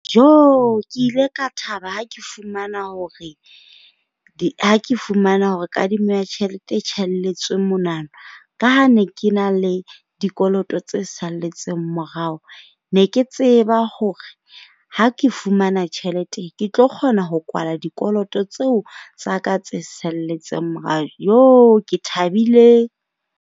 Ke ile ka thaba ha ke fumana hore ha ke fumana hore kadimo ya tjhelete e tjhaelletswe monwana. Ka ha ne ke na le dikoloto tse salletseng morao, ne ke tseba hore ha ke fumana tjhelete ke tlo kgona ho kwala dikoloto tseo tsa ka tse salletseng morao. Ke thabile.